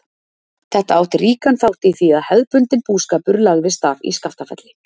Þetta átti ríkan þátt í því að hefðbundinn búskapur lagðist af í Skaftafelli.